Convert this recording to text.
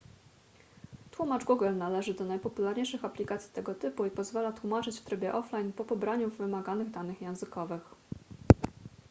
tłumacz google należy do najpopularniejszych aplikacji tego typu i pozwala tłumaczyć w trybie offline po pobraniu wymaganych danych językowych